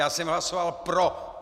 Já jsem hlasoval pro!